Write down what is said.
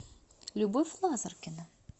любовь лазаркина